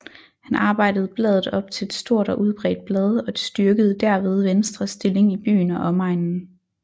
Han arbejdede bladet op til et stort og udbredt blad og styrkede derved Venstres stilling i byen og omegnen